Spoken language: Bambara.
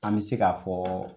An bɛ se k'a fɔ